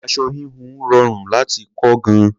Aṣọ híhun rọrùn láti kọ́ gan-an.